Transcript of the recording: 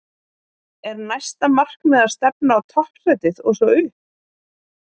Er næsta markmið að stefna á toppsætið og svo upp?